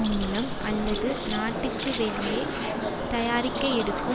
மூலம் அல்லது நாட்டுக்கு வெளியே தயாரிக்க எடுக்கும்